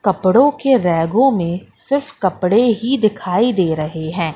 कपड़ों के रैगों में सिर्फ कपड़े ही दिखाई दे रहे हैं।